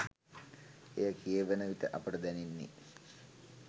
එය කියවන විට අපට දැනෙන්නේ